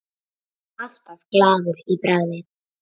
Alltaf glaður í bragði.